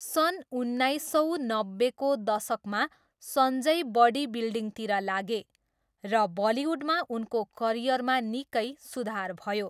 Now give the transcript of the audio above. सन् उन्नाइस सौ नब्बेको दशकमा सञ्जय बडी बिल्डिङतिर लागे र बलिउडमा उनको करियरमा निकै सुधार भयो।